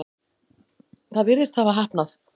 Það virðist hafa heppnað.